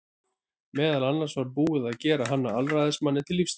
Meðal annars var búið að gera hann að alræðismanni til lífstíðar.